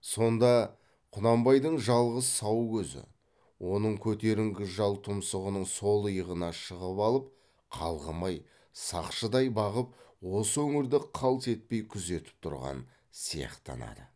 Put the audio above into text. сонда құнанбайдың жалғыз сау көзі оның көтеріңкі жал тұмсығының сол иығына шығып алып қалғымай сақшыдай бағып осы өңірді қалт етпей күзетіп тұрған сияқтана ды